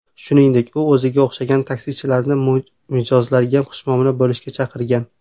Shuningdek, u o‘ziga o‘xshagan taksichilarni mijozlarga xushmuomala bo‘lishga chaqirgan.